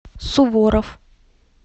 суворов